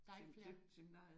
Der er ikke flere